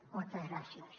moltes gràcies